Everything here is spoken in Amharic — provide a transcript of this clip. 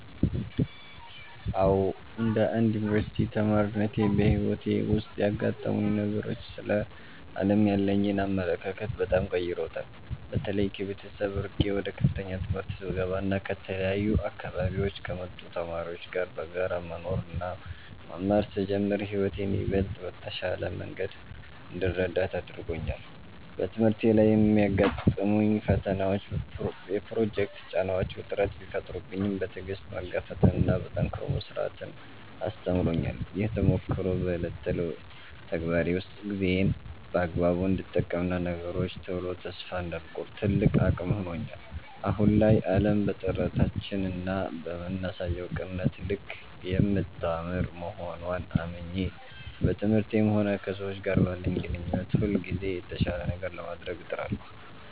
አዎ፣ እንደ አንድ የዩኒቨርሲቲ ተማሪነቴ በሕይወቴ ውስጥ ያጋጠሙኝ ነገሮች ስለ ዓለም ያለኝን አመለካከት በጣም ቀይረውታል። በተለይ ከቤተሰብ ርቄ ወደ ከፍተኛ ትምህርት ስገባና ከተለያዩ አካባቢዎች ከመጡ ተማሪዎች ጋር በጋራ መኖርና መማር ስጀምር ሕይወትን ይበልጥ በተሻለ መንገድ እንድረዳት አድርጎኛል። በትምህርቴ ላይ የሚያጋጥሙኝ ፈተናዎችና የፕሮጀክት ጫናዎች ውጥረት ቢፈጥሩብኝም፣ በትዕግሥት መጋፈጥንና ጠንክሮ መሥራትን አስተምረውኛል። ይህ ተሞክሮ በዕለት ተዕለት ተግባሬ ውስጥ ጊዜዬን በአግባቡ እንድጠቀምና ለነገሮች ቶሎ ተስፋ እንዳልቆርጥ ትልቅ አቅም ሆኖኛል። አሁን ላይ ዓለም በጥረታችንና በምናሳየው ቅንነት ልክ የምታምር መሆንዋን አምኜ፣ በትምህርቴም ሆነ ከሰዎች ጋር ባለኝ ግንኙነት ሁልጊዜም የተሻለ ነገር ለማድረግ እጥራለሁ።